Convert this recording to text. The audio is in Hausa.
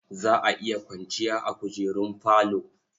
Za a iya kwanciya a kujerun falo.